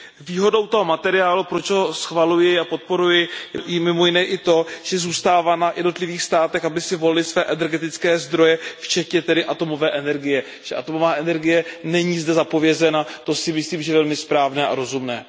Výhodou toho materiálu, proč ho schvaluji a podporuji, je mimo jiné i to, že zůstává na jednotlivých státech, aby si volily své energetické zdroje, včetně tedy atomové energie. Atomová energie není zde zapovězena, to si myslím, že je velmi správné a rozumné.